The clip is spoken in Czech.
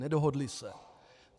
Nedohodla se.